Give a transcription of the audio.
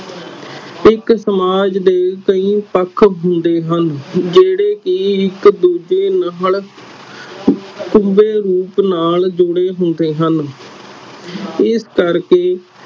ਇਕ ਸਮਾਜ ਦੇ ਕਈ ਪੱਖ ਹੁੰਦੇ ਹਨ ਜਿਹੜੇ ਕੇ ਇਕ ਦੂਜੇ ਨਾਲ ਰੂਪ ਨਾਲ ਜੁੜੇ ਹੁੰਦੇ ਹਨ ਇਸ ਕਰਕੇ